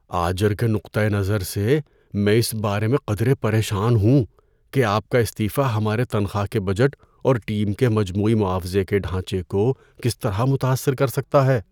آجر کے نقطہ نظر سے، میں اس بارے میں قدرے پریشان ہوں کہ آپ کا استعفی ہمارے تنخواہ کے بجٹ اور ٹیم کے مجموعی معاوضے کے ڈھانچے کو کس طرح متاثر کر سکتا ہے۔